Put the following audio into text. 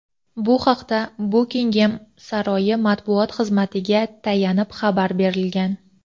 Bu haqda Bukingem saroyi matbuot xizmatiga tayanib xabar berilgan.